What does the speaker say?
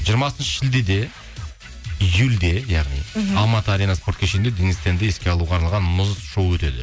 жиырмасыншы шілдеде июльде яғни мхм алматы арена спорт кешенінде денис тенді еске алуға арналға мұз шоу өтеді